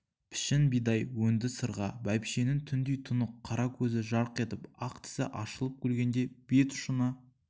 пішін бидай өңді сырға бәйбішенің түндей тұнық қара көзі жарқ етіп ақ тісі ашылып күлгенде бет ұшына